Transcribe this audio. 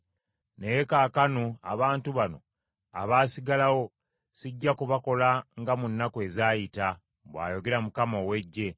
Naye kaakano abantu bano abaasigalawo sijja kubakola nga mu nnaku ezaayita,” bw’ayogera Mukama ow’Eggye.